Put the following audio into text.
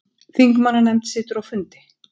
Þingmannanefnd situr á fundi